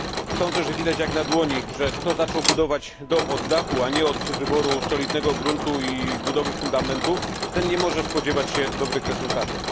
Sądzę, że widać jak na dłoni, że kto zaczął budować dom od dachu, a nie od wyboru solidnego gruntu i budowy fundamentów, ten nie może spodziewać się dobrych rezultatów.